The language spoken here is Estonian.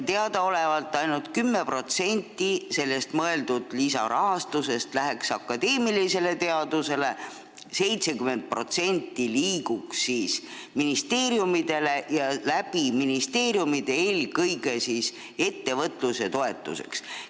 Teadaolevalt läheks ainult 10% sellest lisarahast akadeemilisele teadusele, 70% liiguks ministeeriumidele ja ministeeriumide kaudu eelkõige ettevõtluse toetuseks.